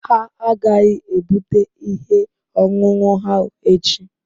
Ha agaghị ebute ihe ọṅụṅụ ahụ echi